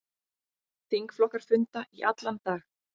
Þingflokkar funda í allan dag